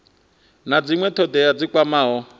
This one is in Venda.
na dzinwe thodea dzi kwamaho